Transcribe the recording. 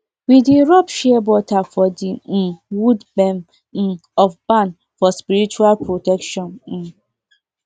we dey rub shea butter for the um wood bem um of barn for spiritual protection um